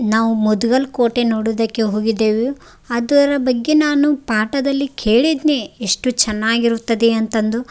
ನಾವು ಮದುಗಲ್ ಕೋಟೆ ನೋಡೋದಕ್ಕೆ ಹೋಗಿದ್ದೆವು ಅದರ ಬಗ್ಗೆ ನಾನು ಪಾಟದಲ್ಲಿ ಕೇಳಿದ್ನೆ ಎಷ್ಟು ಚೆನ್ನಾಗಿರುತ್ತದೆ ಅಂತಂದು.